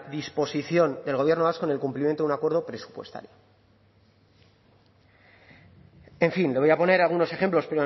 disposición del gobierno vasco en el cumplimiento de un acuerdo presupuestario en fin le voy a poner algunos ejemplos